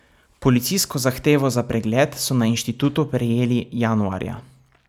Policijsko zahtevo za pregled so na inštitutu prejeli januarja.